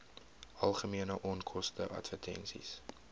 algemene onkoste advertensies